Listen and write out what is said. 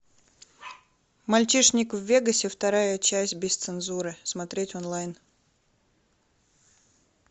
мальчишник в вегасе вторая часть без цензуры смотреть онлайн